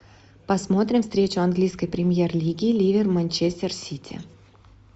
посмотрим встречу английской премьер лиги ливер манчестер сити